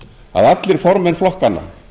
að allir formenn flokkanna